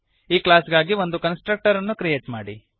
ಈ ಕ್ಲಾಸ್ ಗಾಗಿ ಒಂದು ಕನ್ಸ್ಟ್ರಕ್ಟರನ್ನು ಕ್ರಿಯೇಟ್ ಮಾಡಿರಿ